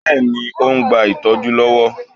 Bẹ́ẹ̀ni. Ó ń gba ìtọ́jú lọ́wọ́.